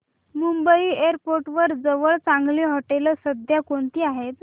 Mumbai airport जवळ चांगली हॉटेलं सध्या कोणती आहेत